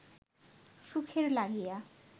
সুখের লাগিয়া